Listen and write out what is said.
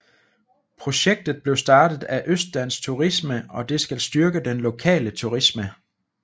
Projektet blev startet af Østdansk Turisme og det skal styrke den lokale turisme